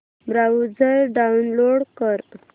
browser download कर